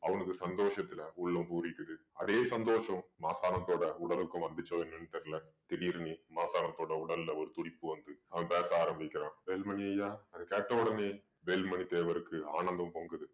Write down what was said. அவனுக்கு சந்தோஷத்துல உள்ளம் பூரிக்குது அதே சந்தோஷம் மாசாணத்தோட உடலுக்கும் வந்துச்சோ என்னன்னு தெரியலே திடீர்ன்னு மாசாணத்தோட உடல்ல ஒரு துடிப்பு வந்து அவன் பேச ஆரம்பிக்கிறான் வேலுமணி ஐயா அத கேட்ட உடனே வேலுமணி தேவருக்கு ஆனந்தம் பொங்குது